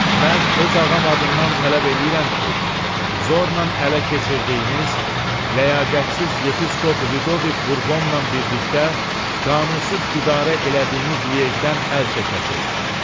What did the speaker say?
Mən öz ağam adından tələb eləyirəm ki, zorla ələ keçirdiyiniz, ləyaqətsiz yepiskop Lidovik Burbonla birlikdə qanunsuz idarə elədiyiniz Liejdən əl çəkəsiz.